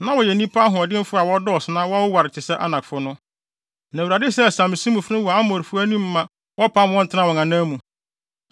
Na wɔyɛ nnipa ahoɔdenfo a wɔdɔɔso na wɔwoware te sɛ Anakfo no. Na Awurade sɛee Samsumifo no wɔ Amonfo anim ma wɔpam wɔn tenaa wɔn anan mu.